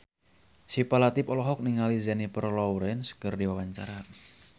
Syifa Latief olohok ningali Jennifer Lawrence keur diwawancara